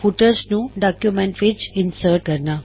footers ਨੂੰ document ਵਿੱਚ insert ਕਰਨਾ